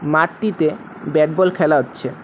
মাটটিতে bat ball খেলা হচ্ছে।